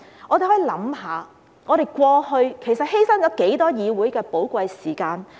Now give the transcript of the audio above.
我們可以想一想，過去其實犧牲了多少寶貴的議會時間？